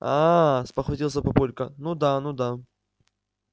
аа спохватился папулька ну да ну да